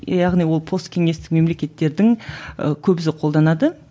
яғни ол посткеңестік мемлекеттердің ы көбісі қолданады